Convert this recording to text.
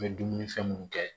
N bɛ dumuni fɛn mun kɛ